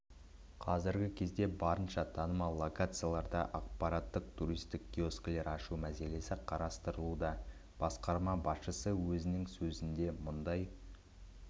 қазіргі кезде барынша танымал локацияларда ақпараттық туристік киоскілер ашу мәселесі қарастырылуда басқарма басшысы өзінің сөзінде мұндай